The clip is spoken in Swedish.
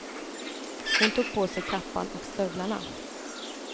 Hon tog på sig kappan och stövlarna.